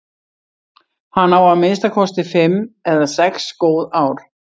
Hann á að minnsta kosti fimm eða sex góð ár.